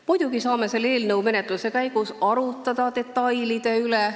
Muidugi saame eelnõu menetluse käigus arutada detailide üle.